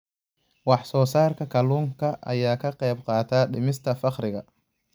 Wax soo saarka kalluunka ayaa ka qayb qaata dhimista faqriga.